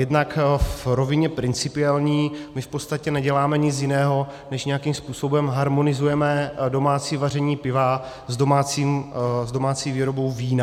Jednak v rovině principiální - my v podstatě neděláme nic jiného, než nějakým způsobem harmonizujeme domácí vaření piva s domácí výrobou vína.